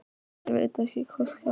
Ég veit ekki hvað skal segja.